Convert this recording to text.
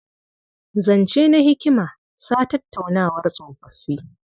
Zance na hikima sa tattaunawar tsofoffi.